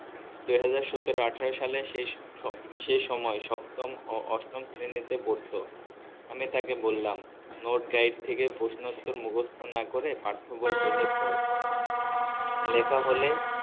দুই হাজার সতেরো আঠারো সালে শেষ সেই সময় সপ্তম ও অষ্টম শ্ৰেণীতে পড়তো আমি তাকে বললাম note guide থেকে প্রশ্ন উত্তর মুকস্থ না করে পাঠ্যবই বুঝে পর লেখা হলে